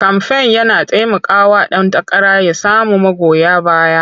Kamfen yana taimakawa ɗan takara ya samu magoya baya.